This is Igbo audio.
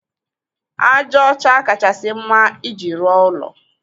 Aja ọcha kachasị mma iji rụọ ụlọ.